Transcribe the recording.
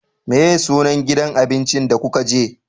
Meye sunan gidan abincin da kuka je?